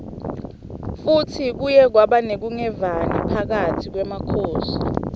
futsi kuye kwaba nekunqevani phakatsi kwemakhosi